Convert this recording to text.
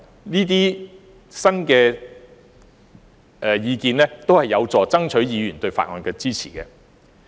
這些新意見均有助爭取議員對《條例草案》的支持。